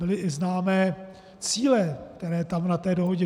Byly i známé cíle, které tam na té dohodě...